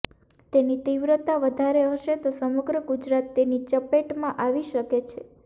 તેની તીવ્રતા વધારે હશે તો સમગ્ર ગુજરાત તેની ચપેટમાં આવી શકે છે